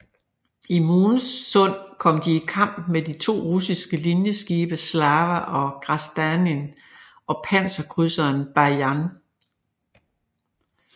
I Moon Sund kom de i kamp med de to russiske linjeskibe Slava og Grasdanin og panserkrydseren Bajan